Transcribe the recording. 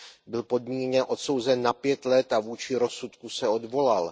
Byl podmíněně odsouzen na 5 let a vůči rozsudku se odvolal.